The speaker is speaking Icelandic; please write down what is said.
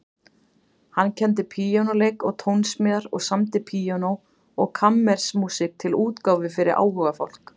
Hann kenndi píanóleik og tónsmíðar og samdi píanó- og kammermúsík til útgáfu fyrir áhugafólk.